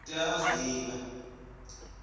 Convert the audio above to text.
u tea u zwi divha